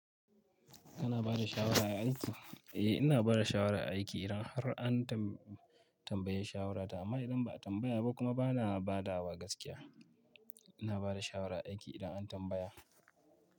Kana bada shawara a aiki? Eh ina bada shawara a aiki idan har an tam- tambaye shawarata. Amma idan ba a tambaya ba kuma ba na badawa gaskiya. Ina bada shawara a aiki idan an tambaya.